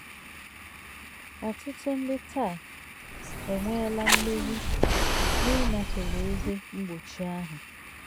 Ọtụtụ ndị taa e nweela mmeri n'ịnafere ihe mgbochi ahụ